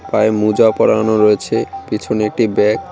পায়ে মোজা পরানো রয়েছে পিছনে একটি ব্যাগ ।